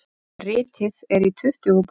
Ritið er í tuttugu bókum.